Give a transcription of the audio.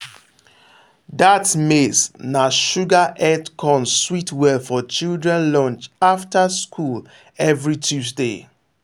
that maize na sugar head corn sweet well for children lunch after school every tuesday.